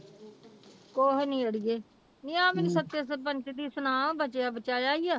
ਕੁਛ ਨੀ ਅੜੀਏ ਨੀ ਆਹ ਮੈਨੂੰ ਸੱਚ ਸਰਪੰਚ ਦੀ ਸੁਣਾ ਬਚਿਆ ਬਚਾਇਆ ਹੀ ਆ।